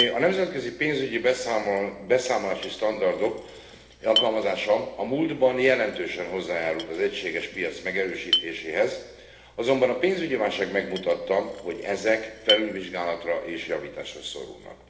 A nemzetközi pénzügyi beszámolási standardok alkalmazása a múltban jelentősen hozzájárult az egységes piac megerősítéséhez, azonban a pénzügyi válság megmutatta, hogy ezek felülvizsgálatra és javításra szorulnak.